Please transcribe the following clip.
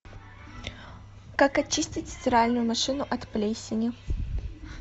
как очистить стиральную машину от плесени